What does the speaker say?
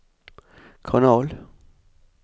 kanal